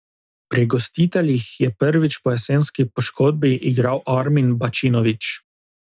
Pri gostiteljih je prvič po jesenski poškodbi igral Armin Bačinović.